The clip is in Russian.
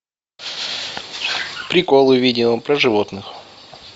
приколы видео про животных